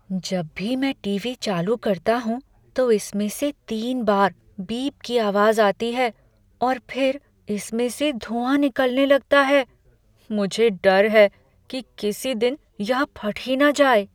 जब भी मैं टीवी चालू करता हूँ तो इसमें से तीन बार बीप की आवाज आती है और फिर इसमें से धुआँ निकलने लगता है। मुझे डर है कि किसी दिन यह फट ही न जाए।